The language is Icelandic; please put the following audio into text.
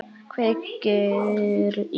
Kveikir í.